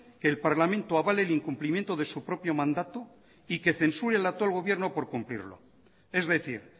que el parlamento avale el incumplimiento de su propio mandato y que censure al actual gobierno por cumplirlo es decir